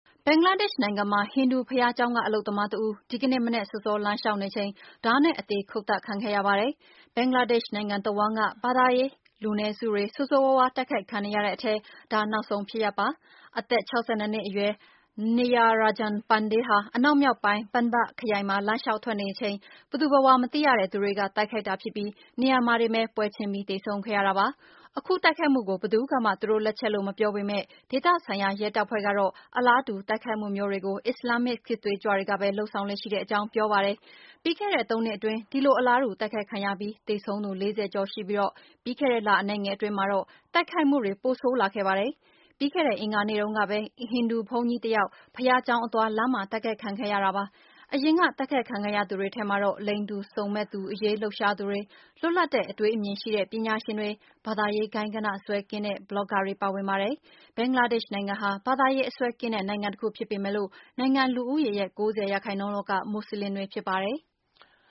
ဘင်္ဂလားဒေ့ရှ်နိုင်ငံမှာ ဟိန္ဒူဘုရားကျောင်းက အလုပ်သမားတဦး ဒီကနေ့ မနက်စောစော လမ်းလျှောက်နေချိန် ဓားနဲ့အသေ ခုတ်သတ်ခံခဲ့ရပါတယ်။ ဘင်္ဂလားဒေ့ရှ် နိုင်ငံတဝှမ်းက ဘာသာရေးလူနည်းစုတွေ ဆိုးဆိုးရွားရွား တိုက်ခိုက်ခံ နေရတဲ့အထဲ ဒါနောက်ဆုံး ဖြစ်ရပ်ပါ။ အသက် ၆၂ နှစ်အရွယ် Nityaranjan Pande ဟာ အနောက်မြောက်ပိုင်း Pabna ခရိုင်မှာ လမ်းလျှောက်ထွက်နေချိန် ဘယ်သူဘယ်ဝါ မသိရတဲ့ သူတွေက တိုက်ခိုက် လာပြီး နေရာမှာတင်ပဲ ပွဲချင်းပြီး အသတ်ခံခဲ့ရတာပါ။ အခုတိုက်ခိုက်မှုကို ဘယ်သူကမှ သူတို့လက်ချက်လို့ မပြောပေမဲ့ ဒေသဆိုင်ရာ ရဲတပ်ဖွဲ့ကတော့ အလားတူ တိုက်ခိုက်မှုမျိုးတွေကို အစ္စလာမ်မစ် စစ်သွေးကြွတွေကပဲ လုပ်ဆောင်လေ့ရှိတဲ့ အကြောင်း ပြောပါတယ်။ ပြီးခဲ့တဲ့ သုံးနှစ်အတွင်း ဒီလိုအလားတူ တိုက်ခိုက်ခံရပြီး သေဆုံးသူ ၄၀ ကျော်ရှိပြီး ပြီးခဲ့တဲ့လ အနည်းငယ်အတွင်း မှာတော့ တိုက်ခိုက်မှုတွေ ပိုဆိုးလာခဲ့ပါတယ်။ ပြီးခဲ့တဲ့ အင်္ဂါနေ့တုန်းကပဲ ဟိန္ဒူဘုန်းကြီးတပါး ဘုရားကျောင်းအသွား လမ်းမှာ တိုက်ခိုက်ခံခဲ့ရတာပါ။ အရင်က တိုက်ခိုက်ခံခဲ့ရသူတွေထဲမှာတော့ လိင်တူစုံမက်သူအရေး လှုပ်ရှားသူတွေ၊ လွတ်လပ်တဲ့ အတွေးအမြင်ရှိတဲ့ ပညာရှင်တွေ၊ ဘာသာရေးဂိုဏ်းဂဏ္ဍစွဲကင်းတဲ့ ဘလော့ဂါတွေ ပါဝင်ပါတယ်။ ဘင်္ဂလားဒေ့ရှ်နိုင်ငံဟာ ဘာသာရေးအစွဲ ကင်းတဲ့ နိုင်ငံတခု ဖြစ်ပေမဲ့ နိုင်ငံလူဦးရေရဲ့ ၉၀ ရာခိုင်နှုန်းလောက်က မူစလင်တွေ ဖြစ်ပါတယ်။